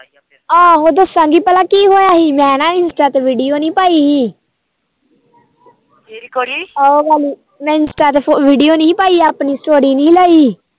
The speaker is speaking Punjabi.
ਆਹੋ ਦੱਸਾਗੀ ਭਲਾ ਕੀ ਹਇਆ ਹੀ ਮੈ ਨਾ insta ਤੇ video ਨੀ ਪਾਈ ਮੈ insta ਤੇ video ਨੀ ਪਾਈ ਆਪਣੀ story ਨੀ ਪਾਈ